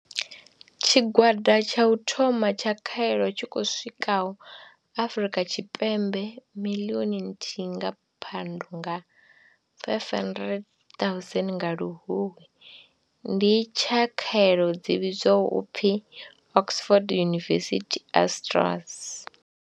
Tshigwada tsha u thoma tsha khaelo tshi khou swikaho Afrika Tshipembe miḽioni nthihi nga Phando na 500 000 nga Luhuhi, ndi tsha khaelo dzi vhidzwaho u pfi Oxford University-AstraZ.